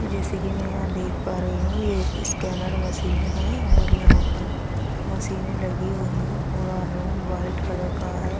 जैसे कि मैं यहां देख पा रही हूं ये एक स्कैनर मशीन है और यहां पर मशीनें लगी हुई है पूरा रूम व्हाइट कलर का है।